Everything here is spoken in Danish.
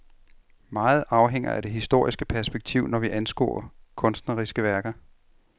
Meget afhænger af det historiske perspektiv, når vi anskuer kunstneriske værker.